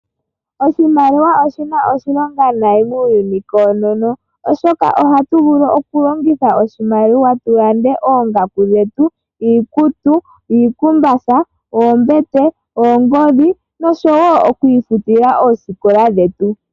Oshimaliwa oshi na oshilonga noonkondo muuyuni koonono, oshoka ohatu vulu okulongitha oshimaliwa tu lande oongaku dhetu, iikutu, iikumbatha, oombete, oongodhi noshowo okwiifutila oosikola dhetu.